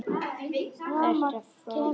Ertu frá þér!?